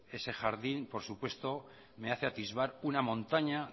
ese jardín por supuesto me hace atisbar una montaña